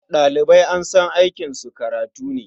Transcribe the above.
Ɗalibai an san aikinsu karatu ne.